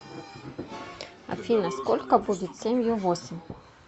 афина сколько будет семью восемь